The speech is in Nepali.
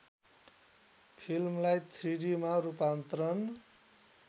फिल्मलाई थ्रिडीमा रूपान्तरण